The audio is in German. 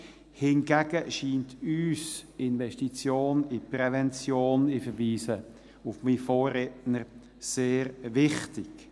hingegen scheint uns die Investition in die Prävention – ich verweise auf meinen Vorredner – sehr wichtig.